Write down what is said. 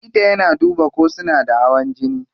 Likita yana duba bugun zuciyar jaririn.